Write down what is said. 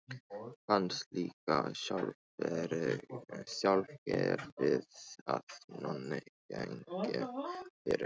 Fannst líka sjálfgefið að Nonni gengi fyrir.